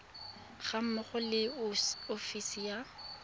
ga mmogo le ofisi ya